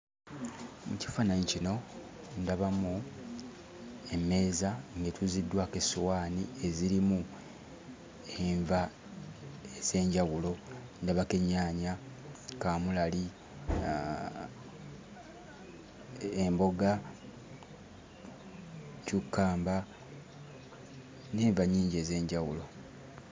Mu kifaananyi kino ndabamu emmeeza ng'etuuziddwako essowaani ezirimu enva ez'enjawulo; ndabako ennyaanya, kaamulali, emboga, ccukkamba n'enva nnyingi ez'enjawulo.